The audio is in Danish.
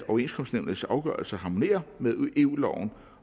overenskomstnævnets afgørelser harmonerer med eu loven